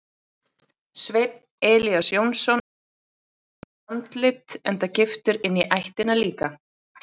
Sveinn Elías Jónsson er með snoturt andlit enda giftur inní ættina líka.